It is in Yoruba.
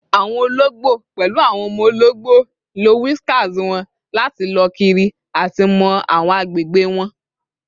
Awọn ologbo, pẹlu awọn ọmọ ologbo, lo whiskers wọn lati lọ kiri ati mọ awọn agbegbe wọn